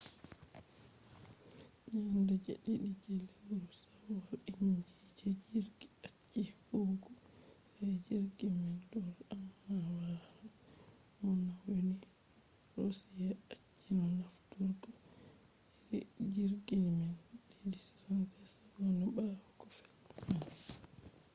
nyande je ɗiɗi je lewru shawwal inji je jirgi acci huwugo sai jirgi man do’i amma wala mo nauni. roshiya acci no nafturgo iri jirgi man ii-76s ɓawo ko fe’i man